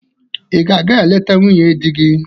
Ị ga-aga eleta nwunye di gị?